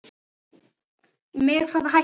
Með hvaða hætti?